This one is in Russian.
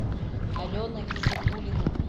алена гизатулина